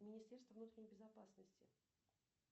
министерство внутренней безопасности